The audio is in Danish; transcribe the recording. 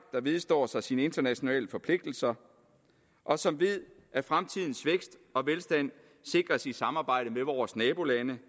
vedstår sig sine internationale forpligtelser og som ved at fremtidens vækst og velstand sikres i samarbejde med vores nabolande